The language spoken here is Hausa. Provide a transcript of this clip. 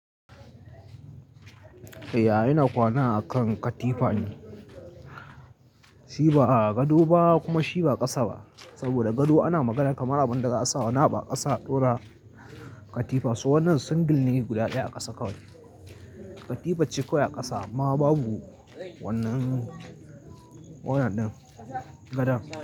Eh, ina kwana a kan katifa ne. Shi ba gado ba kuma shi ba ƙasa ba. Saboda gado ana magana kamar abin da za a sa wani abu a ƙasa a ɗora katifa. So wannan single ne guda ɗaya a ƙasa kawai. Katifar ce kawai a ƙasa amma babu wannan, wannan ɗin gadan.